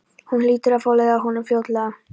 Hún hlýtur að fá leið á honum fljótlega.